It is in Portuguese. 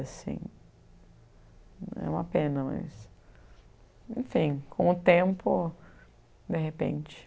assim. É uma pena, mas... Enfim, com o tempo, de repente.